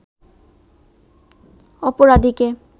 অপরাধীকে